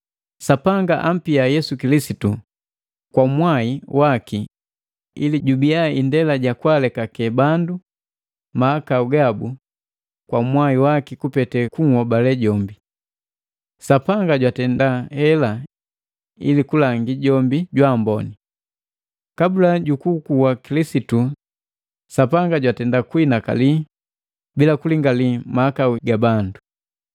Sapanga ampia Yesu Kilisitu kwa mwai waki ili jubia indela ja kwaalekake bandu mahakau gabu kwa mwai waki kupete kunhobale jombi. Sapanga jwatenda hela ili kulangi jombi jwaamboni. Kabula jukukuwa Kilisitu Sapanga jwatenda kuhinakali bila kulingali mahakau ga bandu.